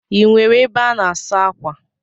Ị nwere ebe a na-asa akwa?